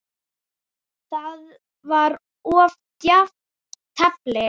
Það var of djarft teflt.